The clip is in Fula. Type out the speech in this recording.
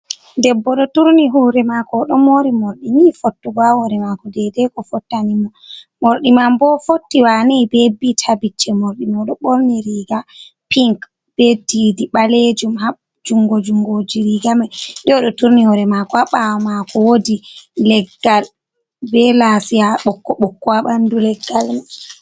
Debbo ɗo turni hore mako, oɗo mori morɗi nii fottugo ha hore mako dede ko fottani mo, morɗi man bo fotti wanei be bit ha bicce mordi mai, oɗo borni riga pink be didi ɓalejum ha jungo jungo ji rigame nde oɗo turni hore mako, ha ɓawa mako wodi leggal be lasiya ɓokko ɓokko ha ɓandu leggal.